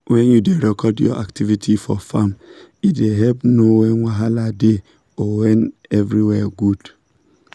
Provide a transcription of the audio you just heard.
when you da record your activity for farm e da help know when wahala da or when when everywhere good